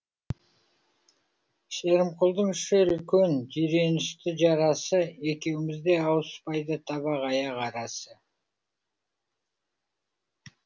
шерімқұлдың іші үлкен жиренішті жарасы екеумізде ауыспайды табақ аяқ арасы